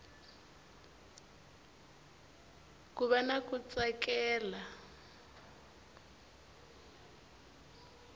ku va na ku tsakela